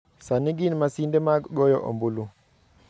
Sani gin masinde mag goyo ombulu.